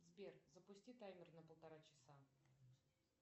сбер запусти таймер на полтора часа